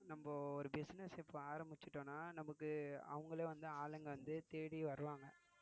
நம்ம ஒரு business இப்ப ஆரம்பிச்சிட்டோம்னா நமக்கு அவங்களே வந்து ஆளுங்க வந்து தேடி வருவாங்க